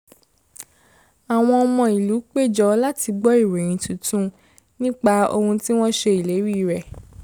àwọn ọmọ ìlú péjọ láti gbọ ìròyìn tuntun nípa àwọn ohun tí wọ́n ṣe ìlérí rẹ̀